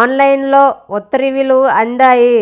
ఆన్లైన్లో ఉత్తర్వులు అందాయి